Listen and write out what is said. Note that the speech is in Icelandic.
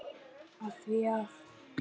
Af því að.